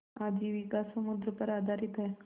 आजीविका समुद्र पर आधारित है